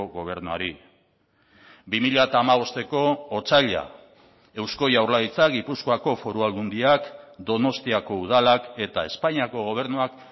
gobernuari bi mila hamabosteko otsaila eusko jaurlaritza gipuzkoako foru aldundiak donostiako udalak eta espainiako gobernuak